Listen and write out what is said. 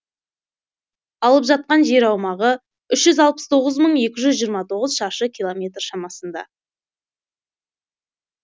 алып жатқан жер аумағы үш жүз алпыс тоғыз мың екі жүз жиырма тоғыз шаршы километр шамасында